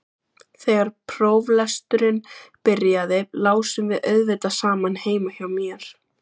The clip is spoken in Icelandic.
Þegar próflesturinn byrjaði lásum við auðvitað saman heima hjá mér.